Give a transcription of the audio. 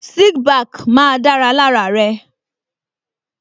Slick back má da lára rẹ